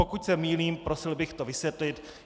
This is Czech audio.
Pokud se mýlím, prosil bych to vysvětlit.